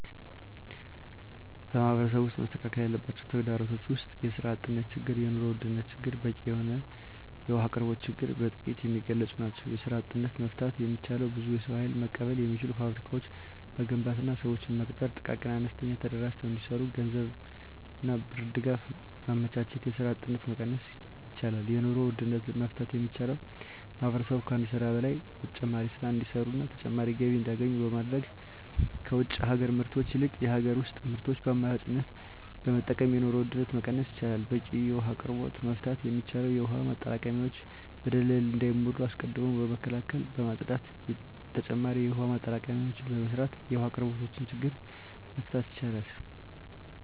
በማህበረሰቡ ውስጥ መስተካከል ያለባቸው ተግዳሮቶች ውስጥ የስራ አጥነት ችግር የኑሮ ውድነት ችግርና በቂ የውሀ አቅርቦት ችግር በጥቂቱ የሚገለፁ ናቸው። የስራ አጥነትን መፍታት የሚቻለው ብዙ የሰው ሀይል መቀበል የሚችሉ ፋብሪካዎችን በመገንባትና ስዎችን በመቅጠር ጥቃቅንና አነስተኛ ተደራጅተው እንዲሰሩ የገንዘብ ብድርና ድጋፍ በማመቻቸት የስራ አጥነትን መቀነስ ይቻላል። የኑሮ ውድነትን መፍታት የሚቻለው ማህበረሰቡ ከአንድ ስራ በላይ ተጨማሪ ስራ እንዲሰሩና ተጨማሪ ገቢ እንዲያገኙ በማድረግ ከውጭ ሀገር ምርቶች ይልቅ የሀገር ውስጥ ምርቶችን በአማራጭነት በመጠቀም የኑሮ ውድነትን መቀነስ ይቻላል። በቂ የውሀ አቅርቦትን መፍታት የሚቻለው የውሀ ማጠራቀሚያዎች በደለል እንዳይሞሉ አስቀድሞ በመከላከልና በማፅዳት ተጨማሪ የውሀ ማጠራቀሚያዎችን በመስራት የውሀ አቅርቦትን ችግር መፍታት ይቻላል።